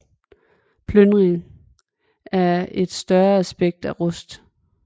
Plyndring er et større aspekt af Rust